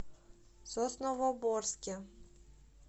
сосновоборске